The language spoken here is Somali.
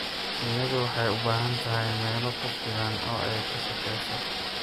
Shinnidu waxay u baahan tahay meelo ku filan oo ay ka shaqeyso.